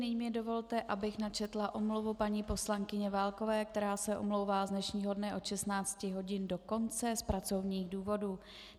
Nyní mi dovolte, abych načetla omluvu paní poslankyně Válkové, která se omlouvá z dnešního dne od 16 hodin do konce z pracovních důvodů.